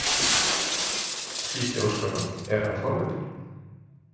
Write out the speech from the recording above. Gísli Óskarsson: Er hann forvitinn?